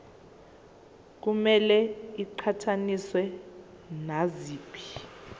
kumele iqhathaniswe naziphi